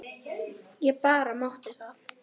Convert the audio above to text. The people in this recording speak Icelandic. Ég bara mátti það!